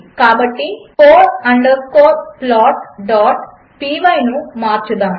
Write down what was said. కాబట్టి four underscore plotపై ను మార్చుదాము